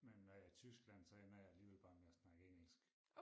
Men når jeg i Tyskland så ender jeg alligevel bare med at snakke engelsk